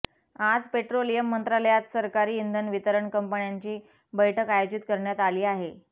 आज पेट्रोलियम मंत्रालयात सरकारी इंधन वितरण कंपन्यांची बैठक आयोजित करण्यात आली आहे